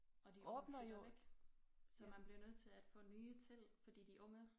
Og de unge flytter væk så man bliver nødt til at få nye til fordi de unge